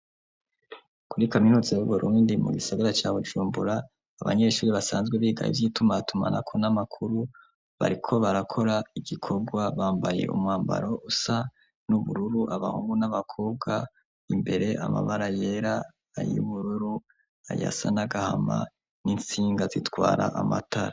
Kuri kaminuza b'Uburundi mu gisagara ca Bujumbura abanyeshure basanzwe biga ivy'itumatumanako n'amakuru bariko barakora igikorwa bambaye umwambaro usa n'ubururu abahungu n'abakobwa imbere amabara yera n'ayubururu ayasa n'agahama n'intsinga zitwara amatara.